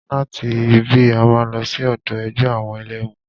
Láti ibí, a máa lọ sí ọ̀dọ̀ ẹgbẹ́ àwọn ẹlẹ́mu.